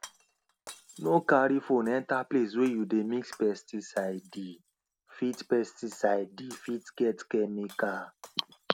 no carry phone enter place wey you dey mix pesticidee fit pesticidee fit get chemical